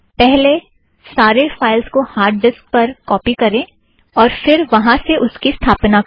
पहले सारे फ़ाइलज़ को हार्ड डिस्क पर कौपी करें और फ़िर वहाँ से उसे स्थापिथ्त करें